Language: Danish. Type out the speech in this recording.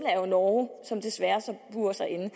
er jo norge som desværre så burer sig inde